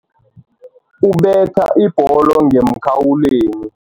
Ubethele ibholo ngemkhawulweni.